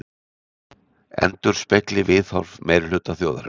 Endurspegli viðhorf meirihluta þjóðarinnar